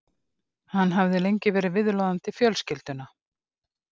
Hann hafði lengi verið viðloðandi fjölskylduna.